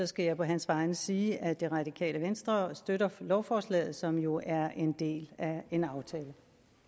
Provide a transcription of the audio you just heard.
skal jeg på hans vegne sige at det radikale venstre støtter lovforslaget som jo er en del af en aftale